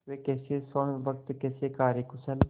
वे कैसे स्वामिभक्त कैसे कार्यकुशल